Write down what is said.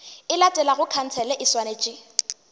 e latelago khansele e swanetše